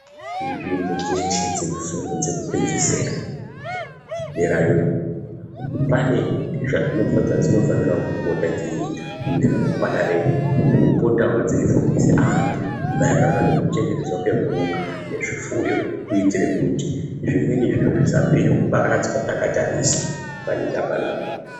Nzvimbo dzeshe dzine fundo dzekupedzisira bvira pane zvadzinofana kupota dzeiita mune remangwana edu kupotawo dzeifundise antu maererano ngekuchengetedzwa kwemhuka nezvifuyo kuitire kuti zvimweni zviro zvisapere kuparadzwa takatarisa panyika panapa.